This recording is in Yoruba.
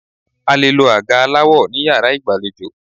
A lè lo àga aláwọ ní Yàrá ìgbàlejò.